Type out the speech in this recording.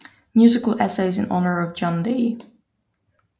Musical Essays in Honour of John D